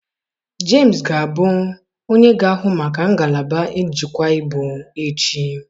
Jemus ga-abụ onye ga-ahụ maka ngalaba njikwa ibu echi.